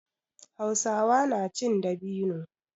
Hausawa na cin dabino.